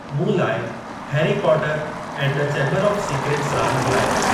मूं लाइ Harry Potter and the Chamber of Secrets रांदि हलायो।